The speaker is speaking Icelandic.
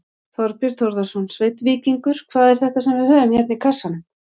Þorbjörn Þórðarson: Sveinn Víkingur, hvað er þetta sem við höfum hérna í kassanum?